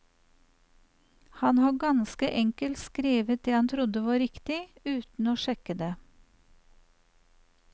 Han har ganske enkelt skrevet det han trodde var riktig, uten å sjekke det.